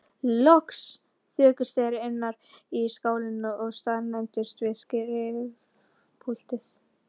Loks þokuðust þeir innar í skálann og staðnæmdust við skrifpúltið.